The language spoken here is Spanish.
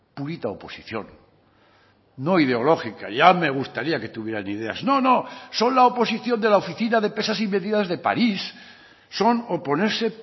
purita oposición no ideológica ya me gustaría que tuvieran ideas no no son la oposición de la oficina de pesas y medidas de paris son oponerse